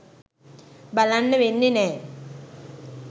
බලන්න වෙන්නෙ නෑ